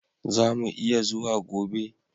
Zamu iya zuwa gobe